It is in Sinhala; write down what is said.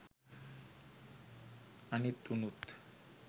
අනිත් උනුත්